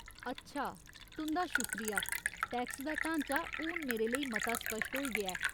अच्छा,, तुं'दा शुक्रिया, टैक्स दा ढांचा हून मेरे लेई मता स्पश्ट होई गेआ ऐ।